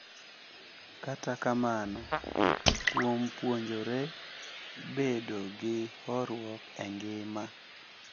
Kata kamano, kuom puonjore bedo gi horuok e ngima .